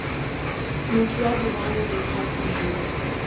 motho wa boraro bothati jo